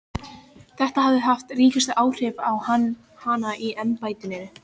Þetta hafi haft ríkust áhrif á hana í embættinu.